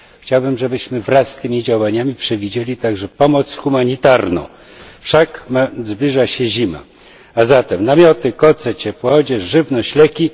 Chciałbym, żebyśmy wraz z tymi działaniami przewidzieli także pomoc humanitarną wszak zbliża się zima a zatem namioty, koce, ciepłą odzież, żywność, leki.